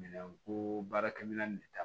Minɛn koo baarakɛ minɛn ni ta